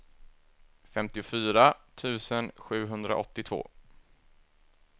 femtiofyra tusen sjuhundraåttiotvå